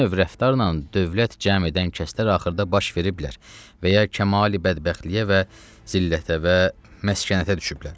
bu növ rəftarla dövlət cəm edən kəslər axırda baş veriblər və kəmalı bədbəxtliyə və zillətə və məskənətə düşüblər.